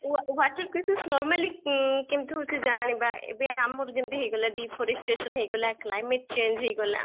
water crisis normally um କିନ୍ତୁ ସେ ଜାଣିବା ଏବେ ଆମର ଯେମିତି ହେଇ ଗଲା deforestation ହେଇଗଲା climate change ହେଇ ଗଲା